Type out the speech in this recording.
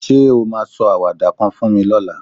Ṣé o máa sọ àwàdà kan fún mi lọ́la?